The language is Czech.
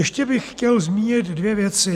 Ještě bych chtěl zmínit dvě věci.